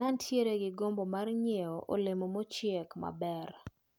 Ne antiere gi gombo mar nyiewo olemo mochiek maber.